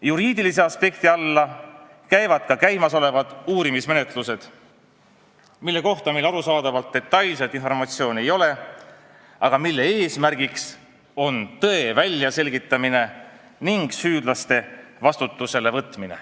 Juriidilise aspekti alla käivad ka käimasolevad uurimismenetlused, mille kohta meil arusaadavalt detailset informatsiooni ei ole, aga mille eesmärk on tõde välja selgitada ning süüdlased vastutusele võtta.